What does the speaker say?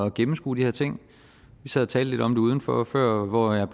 gennemskue de her ting vi sad og talte lidt om det udenfor før hvor jeg